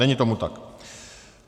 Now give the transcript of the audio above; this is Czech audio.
Není tomu tak.